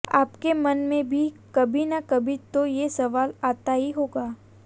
आपके मन में भी कभी ना कभी तो ये सवाल आता ही होगा